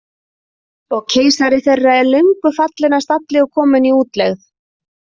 Og keisari þeirra er löngu fallinn af stalli og kominn í útlegð.